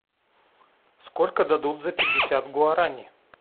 сколько дадут за пятьдесят гуараней